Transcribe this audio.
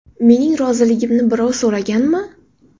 Mening roziligimni birov so‘raganmi?